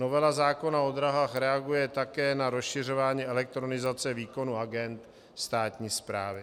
Novela zákona o dráhách reaguje také na rozšiřování elektronizace výkonu agend státní správy.